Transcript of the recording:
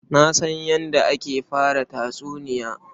Na san yadda ake fara tatsuniya.